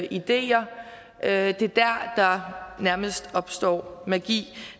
ideer at der nærmest opstår magi